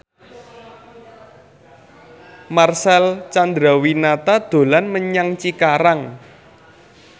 Marcel Chandrawinata dolan menyang Cikarang